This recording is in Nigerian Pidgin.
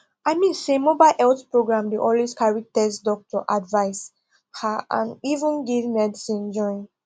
i mean say mobile health program dey always carry test doctor advice ah and even give medicine join